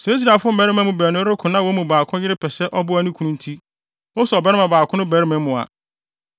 Sɛ Israelfo mmarima baanu reko na wɔn mu baako yere pɛ sɛ ɔboa ne kunu nti, oso ɔbarima baako no barima mu a,